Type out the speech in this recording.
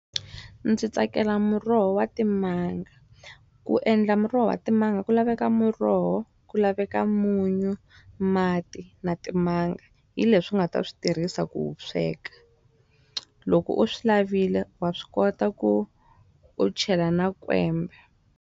Ndzi tsakela muroho wa timanga. Ku endla muroho wa timanga ku laveka muroho, ku laveka munyu, mati, na timanga. Hi leswi u nga ta swi tirhisa ku wu sweka. Loko u swi lavile, wa swi kota ku u chela na kwembe.